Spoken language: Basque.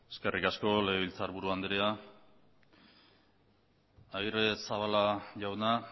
eskerrik asko legebiltzarburu andrea agirrezabala jauna